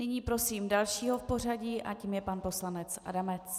Nyní prosím dalšího v pořadí a tím je pan poslanec Adamec.